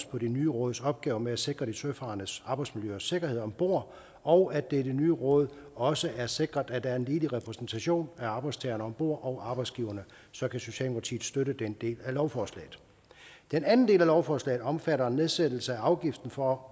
på det nye råds opgaver med at sikre de søfarendes arbejdsmiljø og sikkerhed om bord og da det i det nye råd også er sikret at der er en ligelig repræsentation af arbejdstagerne om bord og arbejdsgiverne så kan socialdemokratiet støtte den del af lovforslaget den anden del af lovforslaget omfatter en nedsættelse af afgiften for